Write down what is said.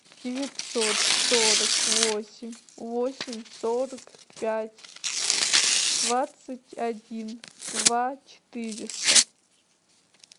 девятьсот сорок восемь восемь сорок пять двадцать один два четыреста